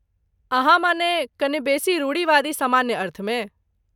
अहाँ मने कने बेसी रूढ़िवादी, सामान्य अर्थमे?